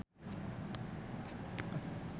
Virnie Ismail olohok ningali Matt Damon keur diwawancara